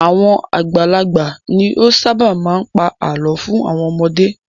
Àwọn àgbàlagbà ni ó ṣábà máa ń pa àlọ́ fún àwọn ọmọdé.